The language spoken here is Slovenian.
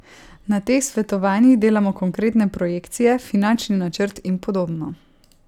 Na teh svetovanjih delamo konkretne projekcije, finančni načrt in podobno...